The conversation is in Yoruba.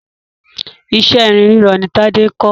Iṣẹ́ irin rírọ ni Tádé ń kọ́.